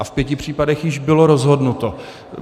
A v pěti případech již bylo rozhodnuto.